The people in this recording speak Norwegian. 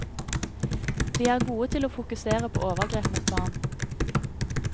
Vi er gode til å fokusere på overgrep mot barn.